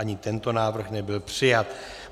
Ani tento návrh nebyl přijat.